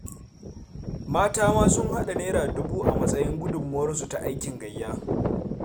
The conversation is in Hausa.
Mata ma sun haɗa Naira dubu a matsayin gudunmawarsu ta aikin gayya.